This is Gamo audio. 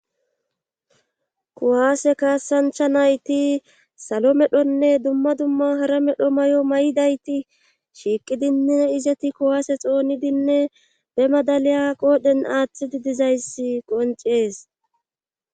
Kuwaase kaasancha nayti salo medhonne dumma dumma hara medho may'o may'dayti shiiqidinne izeti kuwaase xoonidinne be madaliya qoodhen aaththidi dizayssi qoncees